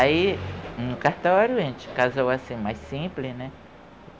Aí, no cartório, a gente casou assim, mais simples, né?